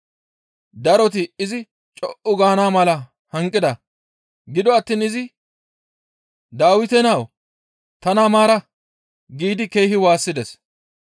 Daroti izi co7u gaana mala hanqida; gido attiin izi, «Dawite nawu! Tana maara» giidi keehi waassides.